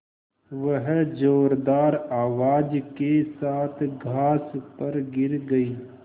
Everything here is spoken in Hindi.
वह ज़ोरदार आवाज़ के साथ घास पर गिर गई